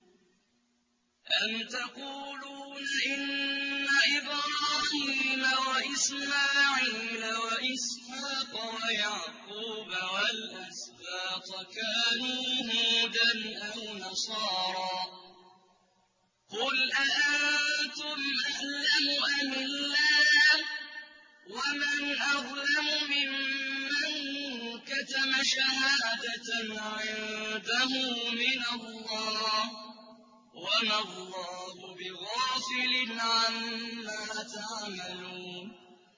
أَمْ تَقُولُونَ إِنَّ إِبْرَاهِيمَ وَإِسْمَاعِيلَ وَإِسْحَاقَ وَيَعْقُوبَ وَالْأَسْبَاطَ كَانُوا هُودًا أَوْ نَصَارَىٰ ۗ قُلْ أَأَنتُمْ أَعْلَمُ أَمِ اللَّهُ ۗ وَمَنْ أَظْلَمُ مِمَّن كَتَمَ شَهَادَةً عِندَهُ مِنَ اللَّهِ ۗ وَمَا اللَّهُ بِغَافِلٍ عَمَّا تَعْمَلُونَ